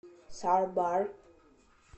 сар бар